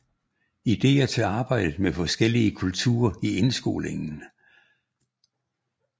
Ideer til arbejdet med forskellige kulturer i indskolingen